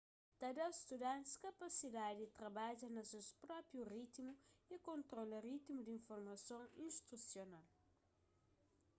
ta dá studantis kapasidadi di trabadja na ses própi ritimu y kontrola ritimu di informason instrusional